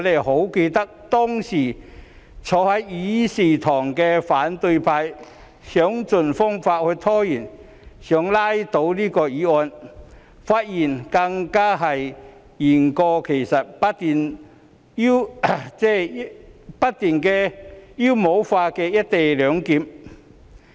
我記得當時仍坐在議事堂的反對派議員想方設法拖延，想拉倒議案，發言更是言過其實，不斷妖魔化"一地兩檢"安排。